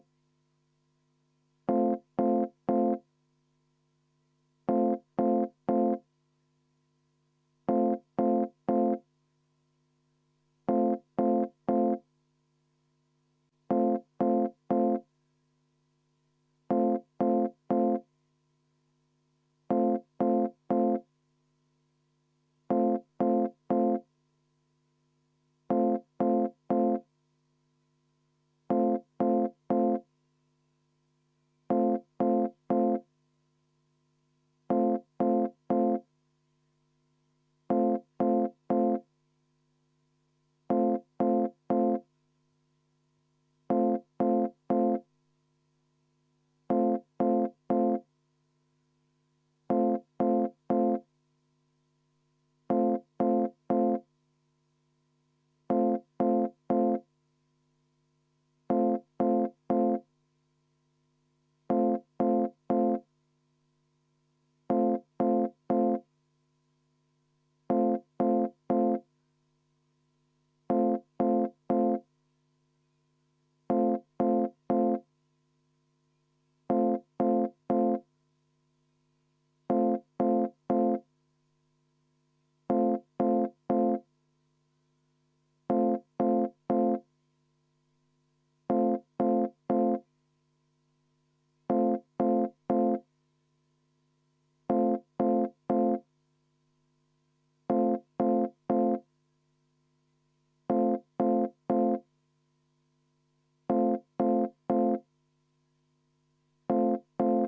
V a h e a e g